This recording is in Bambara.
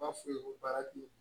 B'a f'u ye ko baara ti